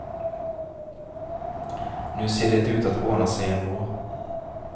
Nu ser det ut att ordna sig ändå.